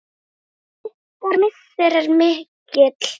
Ykkar missir er mikill.